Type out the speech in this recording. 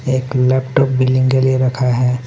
एक laptop billing के लिए रखा है।